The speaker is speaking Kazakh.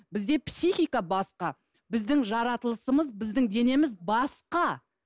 бізде психика басқа біздің жаратылысымыз біздің денеміз басқа